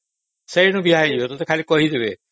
ସେଇଠୁ ବାହା ହେଇଯିବେ ତତେ ଖାଲି କହିଦେବେ